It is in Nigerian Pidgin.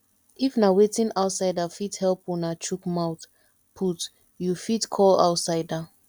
if na wetin outsider fit help una chook mouth put you fit call outsider